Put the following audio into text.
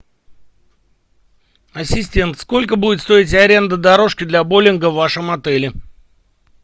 ассистент сколько будет стоить аренда дорожки для боулинга в вашем отеле